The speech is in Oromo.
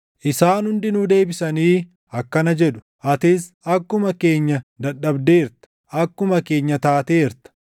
Isaan hundinuu deebisanii akkana jedhu; “Atis akkuma keenya dadhabdeerta; akkuma keenya taateerta.”